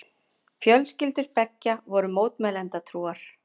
Fjölskyldur beggja voru mótmælendatrúar.